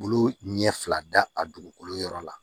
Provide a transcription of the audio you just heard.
Olu ɲɛ fila da a dugukolo yɔrɔ la